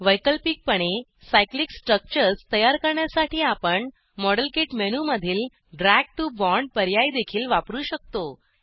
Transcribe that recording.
वैकल्पिकपणे cyclic structures तयार करण्यासाठी आपण मॉडेलकिट मेनूमधील ड्रॅग टीओ बॉण्ड पर्यायदेखील वापरु शकतो